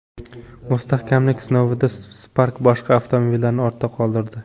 Mustahkamlik sinovida Spark boshqa avtomobillarni ortda qoldirdi.